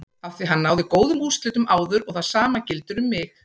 Afþví hann náði góðum úrslitum áður og það sama gildir um mig.